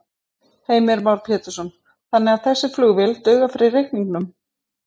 Heimir Már Pétursson: Þannig að þessi flugvél dugar fyrir reikningnum?